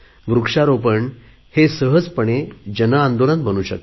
वृक्षारोपण हे सहजपणे जनआंदोलन बनू शकते